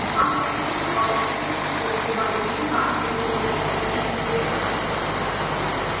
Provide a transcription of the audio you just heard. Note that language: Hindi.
हम package और इसके उपयोग के बारे में बाद के tutorial में सीखेंगे